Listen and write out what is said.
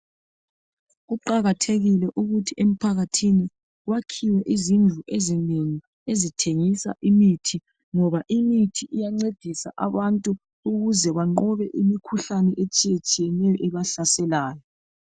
Kuqakathekile ukuthi emphakathini kwakhiwe izindlu ezinengi ezithengisa imithi ngoba imithi iyancedisa abantu ukuze banqobe imikhuhlane etshiyetshiyeneyo ebahlaselayo